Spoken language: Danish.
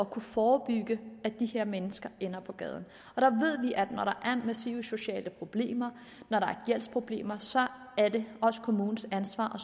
kunne forebygge at de her mennesker ender på gaden og der ved vi at når der er massive sociale problemer når der er gældsproblemer så er det også kommunens ansvar